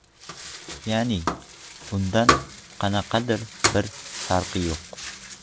Ya’ni undan qanaqadir bir farqi yo‘q.